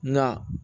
Nka